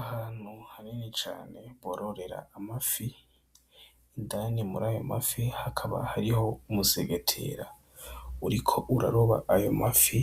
Ahantu hanini cane bororera amafi indani muri ayo ma fi hakaba hariho umusegetera uriko uraroba ayo mafi